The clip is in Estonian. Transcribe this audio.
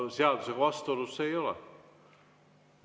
Seadusega vastuolus see ei ole.